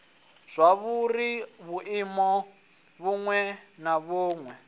zwauri vhuimo vhuṅwe na vhuṅwe